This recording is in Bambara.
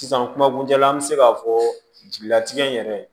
Sisan kuma kuncɛ la an bɛ se k'a fɔ jigilatigɛ yɛrɛ